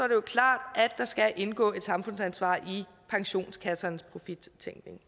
klart at der skal indgå et samfundsansvar i pensionskassernes profittænkning